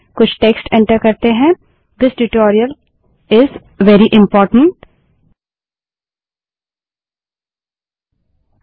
कुछ text enter करें this tutorial is very important यह ट्यूटोरियल बहुत महत्वपूर्ण है